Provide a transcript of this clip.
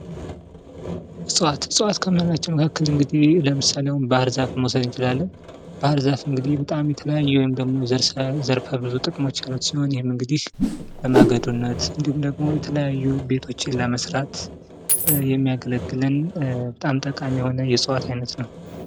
ዕጽዋት፦ ዕጽዋት ከምንላቸው መካከል እንግዲህ ለምሳሌ አሁን ባህርዛፍን መውሰድ እንችላለን። ባህርዛፍ እንግዲህ በጣም የተለያዩ ወይም ደግሞ ዘርፈ ብዙ ጥቅሞች ያሉት ሲሆን ይህም እንግዲህ ለማገዶነት፣ እንድሁም ደግሞ የተለያዩ ቤቶችን ለመስራት የሚያገለግለን በጣም ጠቃሚ የሆነ የእጽዋት አይነት ነው።